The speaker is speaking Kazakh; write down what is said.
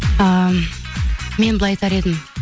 ы мен былай айтар едім